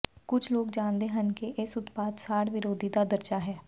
ਕੁਝ ਲੋਕ ਜਾਣਦੇ ਹਨ ਕਿ ਇਸ ਉਤਪਾਦ ਸਾੜ ਵਿਰੋਧੀ ਦਾ ਦਰਜਾ ਹੈ